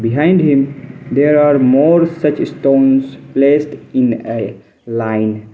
behind him there are more such stones placed in a line.